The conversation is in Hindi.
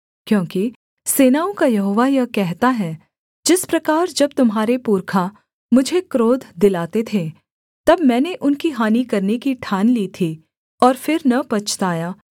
क्योंकि सेनाओं का यहोवा यह कहता है जिस प्रकार जब तुम्हारे पुरखा मुझे क्रोध दिलाते थे तब मैंने उनकी हानि करने की ठान ली थी और फिर न पछताया